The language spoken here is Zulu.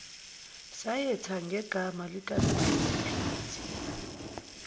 sayetha negama likasiphithiphithi